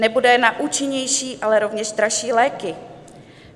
Nebude na účinnější, ale rovněž dražší léky.